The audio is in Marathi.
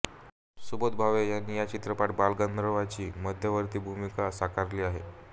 सुबोध भावे याने या चित्रपटात बालगंधर्वांची मध्यवर्ती भूमिका साकारली आहे